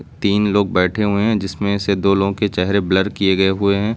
तीन लोग बैठे हुए हैं जिसमें से दो लोगों के चेहरे ब्लर किए गए हुए हैं।